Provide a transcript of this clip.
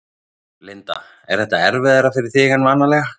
Linda: Er þetta erfiðara fyrir þig en vanalega?